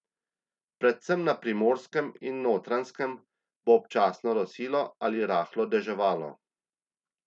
Predvsem na Primorskem in Notranjskem bo občasno rosilo ali rahlo deževalo.